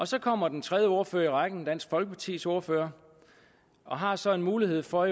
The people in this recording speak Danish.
så kommer den tredje ordfører i rækken dansk folkepartis ordfører og har så en mulighed for